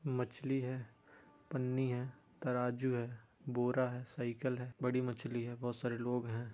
मछली है पन्नी है तराजू है बोरा है साइकल है बड़ी मछली है बहुत सारे लोग हैं।